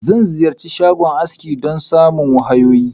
Na Ziyarchi shagon aski don samun wahayoyi.